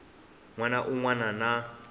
n wana un wana na